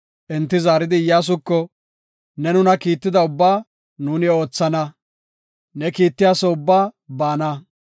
Enti zaaridi Iyyasuko, “Ne nuna kiitida ubbaa nuuni oothana; ne kiittiyaso ubbaa baana.